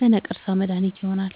ለነቀርሳ መድሀኒት ይሆናል።